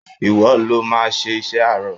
Ìwọ lo máa ṣe iṣẹ́ àárọ̀.!